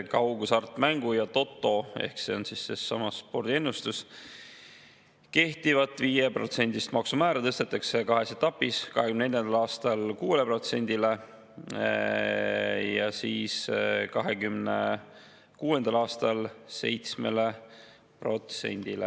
Kaughasartmängu ja toto ehk sellesama spordiennustuse puhul kehtivat 5%‑list maksumäära tõstetakse kahes etapis: 2024. aastal 6%‑le ja 2026. aastal 7%‑le.